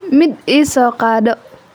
Mid ii soo qaado.